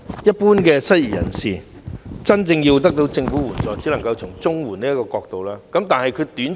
一般失業人士如果要真正得到政府的援助，只能夠循綜援這個途徑。